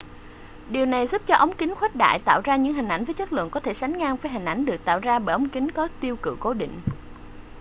điều này giúp cho ống kính khuếch đại tạo ra những hình ảnh với chất lượng có thể sánh ngang với hình ảnh được tạo ra bởi ống kính có tiêu cự cố định